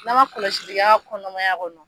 N'a ma kɔlɔsi k'a ka kɔnɔmaya kɔnɔ.